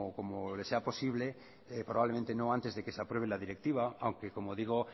como le sea posible probablemente no antes de que se apruebe la directiva aunque como digo